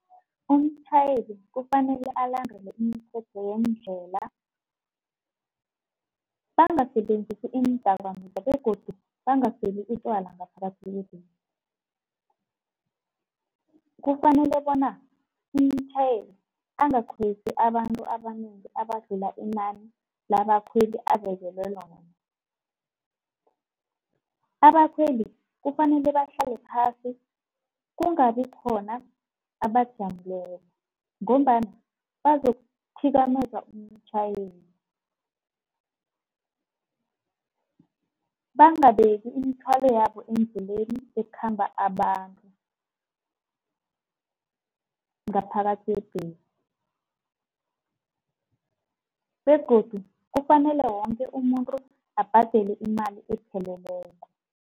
Umtjhayeli kufanele alandele imithetho yendlela. Bangasebenzisi iindakamizwa begodu bangaseli utjwala ngaphakathi . Kufanele bona umtjhayeli angakhwezi abantu abanengi abadlula inani labakhweli abekelwe noma. Abakhweli kufanele bahlale phasi kungabi khona abajameleko ngombana bazokuthikameza umtjhayeli. Bangabeka imithwalo yabo endleleni ekhamba abantu, ngaphakathi kwebhesi begodu kufanele wonke umuntu abhadele imali epheleleko.